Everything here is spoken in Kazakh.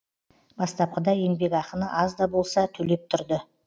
бастапқыда еңбекақыны аз да болса төлеп тұрды